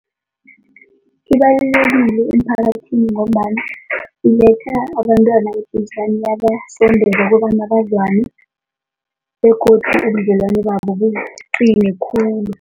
Ibalulekile emiphakathini ngombana iletha abantwana okubona bazwane begodi ubudlelwana babo buqine khulu.